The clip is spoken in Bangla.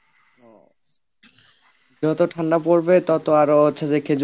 ও, যত ঠান্ডা পড়বে তত আরো হচ্ছে যে খেজুর